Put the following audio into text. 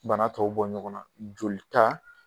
Bana tɔw bɔ ɲɔgɔn na jolita